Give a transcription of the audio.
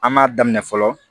An m'a daminɛ fɔlɔ